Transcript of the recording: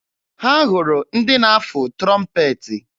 Ha hụrụ ndị na-afụ trọmpeetị.